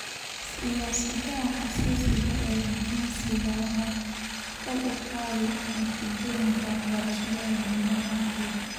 Siyaasadaha xasaasiga ah ee jinsiga waxay kor u qaadaan natiijooyinka waxbarasho ee dhammaan ardayda.